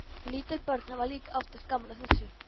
Lítil börn hafa líka oftast gaman af þessu.